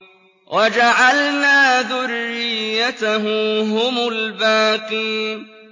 وَجَعَلْنَا ذُرِّيَّتَهُ هُمُ الْبَاقِينَ